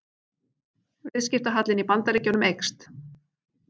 Viðskiptahallinn í Bandaríkjunum eykst